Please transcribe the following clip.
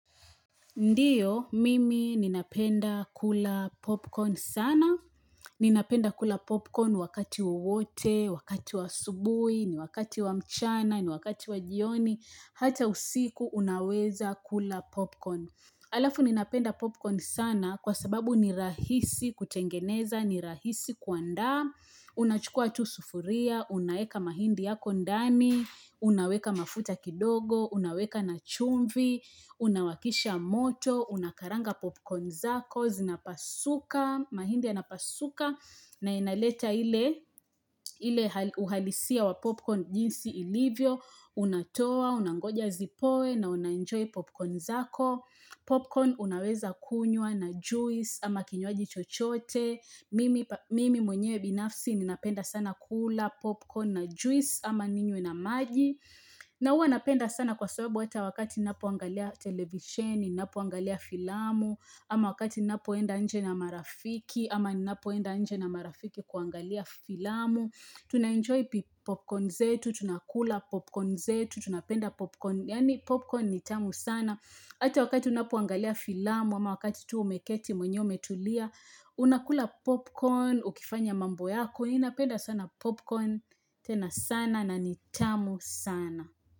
Ndiyo mimi ninapenda kula popcorn sana. Ninapenda kula popcorn wakati wowote, wakati wa asubuhi, ni wakati wa mchana, ni wakati wa jioni, hata usiku unaweza kula popcorn. Alafu ninapenda popcorn sana kwa sababu ni rahisi kutengeneza, ni rahisi kuandaa, unachukua tu sufuria, unaeka mahindi yako ndani, unaweka mafuta kidogo, unaweka na chumvi, unawakisha moto, unakaranga popcorn zako, zinapasuka, mahindi ya napasuka, na inaleta ile uhalisia wa popcorn jinsi ilivyo, unatoa, unangoja zipoe na unanjoy popcorn zako. Popcorn unaweza kunywa na juice ama kinywaji chochote Mimi mwenye binafsi ninapenda sana kula popcorn na juice ama ninywe na maii na huwa napenda sana kwa sababu wata wakati ninapoangalia televisheni Ninapoangalia filamu ama wakati ninapoenda nje na marafiki ama ninapoenda nje na marafiki kuangalia filamu Tuna enjoy popcorn zetu, tunakula popcorn zetu, tunapenda popcorn Yaani popcorn ni tamu sana Ata wakati unapoangalia filamu ama wakati tu umeketi mwenye umetulia Unakula popcorn, ukifanya mambo yako Ninapeda sana popcorn, tena sana na ni tamu sana.